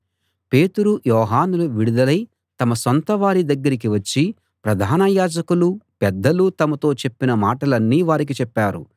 పేతురు యోహానులు విడుదలై తమ సొంతవారి దగ్గరికి వచ్చి ప్రధాన యాజకులూ పెద్దలూ తమతో చెప్పిన మాటలన్నీ వారికి చెప్పారు